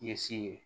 Ɲɛsin ye